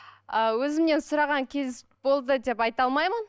ы өзімнен сұраған кез болды деп айта алмаймын